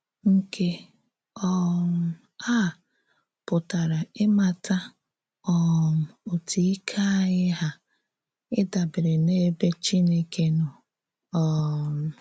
Nke um à pụtara ìmàtà um òtú ìké ányị hà na ìdàbèrè n’èbè Chínèkè nọ. um